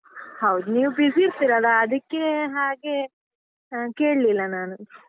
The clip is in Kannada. ಹೌದ್ ನೀವ್ busy ಇರ್ತಿರಲ್ಲ ಅದಿಕ್ಕೆ ಹಾಗೆ ಹಾ ಕೇಳಿಲ್ಲ ನಾನು.